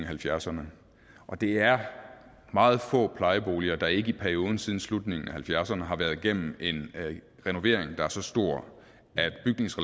halvfjerdserne og det er meget få plejeboliger der ikke i perioden siden slutningen af nitten halvfjerdserne har været gennem en renovering der er så stor